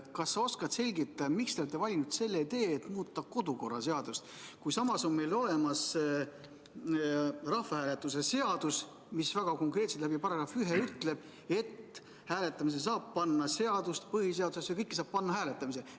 Kas sa oskad selgitada, miks te olete valinud selle tee, et muuta kodu- ja töökorra seadust, kui meil on olemas rahvahääletuse seadus, mis ütleb väga konkreetselt § 1 kaudu, et hääletamisele saab panna seaduse, põhiseaduse – kõike saab panna hääletamisele.